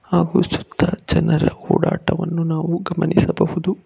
ಹಾಗೂ ಸುತ್ತ ಜನರ ಓಡಾಟವನ್ನು ನಾವು ಗಮನಿಸಬಹುದು.